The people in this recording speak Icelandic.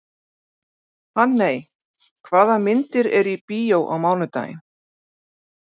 Hanney, hvaða myndir eru í bíó á mánudaginn?